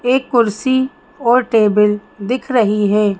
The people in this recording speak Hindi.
एक कुर्सी और टेबल दिख रही है।